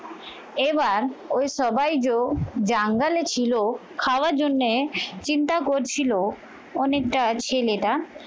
এবার ওই সবাই জো জঙ্গলে ছিল খাওয়ার জন্যে চিন্তা করছিল অনেকটা ছেলেটা